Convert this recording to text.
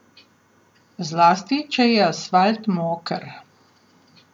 Zlasti, če je asfalt moker.